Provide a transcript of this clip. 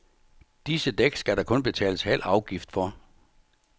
Disse dæk skal der kun betales halv afgift for.